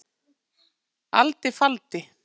alda faldi